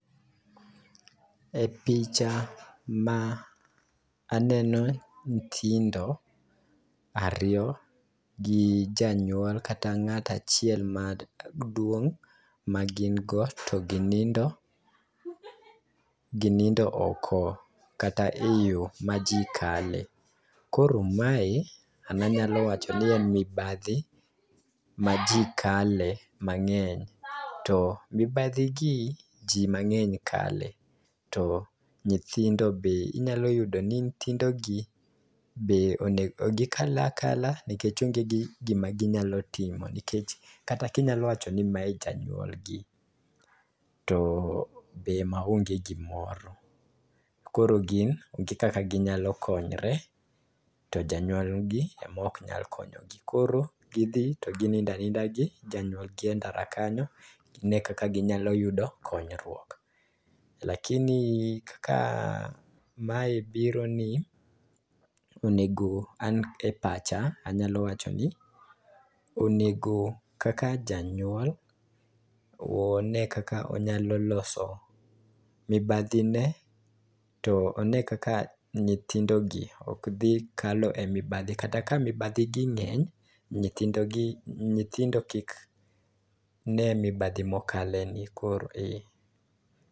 E picha ma aneno nyithindo ariyo gi janyuol kata ng'ato achiel maduong' ma gin go to ginindo, ginindo oko kata e yo ma ji kale. Koro mae an anyalo wacho ni en mibadhi ma ji kale mang'eny, to mibadhigi ji mang'eny kale to nyithindo be, inyalo yudo ni nyithindogi be ,gikal akala nikech onge gima ginya timo, nikech kata ka inyalo wacho ni mae janyuolgi, to be maonge gimoro. Koro gin onge kaka ginyalo konyre to janyuolgi ema ok nyal konyogi. Koro gidhi to ginindo aninda gi janyuolgi e ndara kanyo, gine kaka ginyalo yudo konyruok. Lakini kaka mae biro ni, onego an e pacha, anyalo wacho ni onego, kaka janyuol, one kaka onyalo loso mibadhine ,to one kaka nyithindogi ok dhi kalo e mibadhi, kata ka mibadhigi ng'eny, nyithindo kik ne mibadhi mokale ni koro.